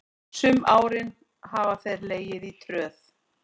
Sum árin hafa þeir legið í tröð.